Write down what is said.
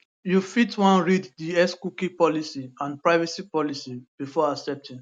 you fit wan read di xcookie policyandprivacy policybefore accepting